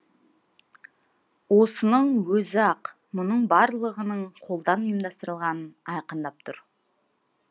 осының өзі ақ мұның барлығының қолдан ұйымдастырылғанын айқындап тұр